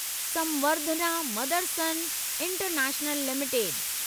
Samvardhana Motherson international limited